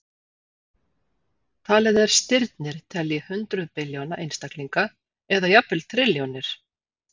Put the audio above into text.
Talið er stirnir telji hundruð billjóna einstaklinga eða jafnvel trilljónir.